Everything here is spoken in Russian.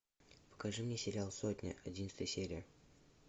покажи мне сериал сотня одиннадцатая серия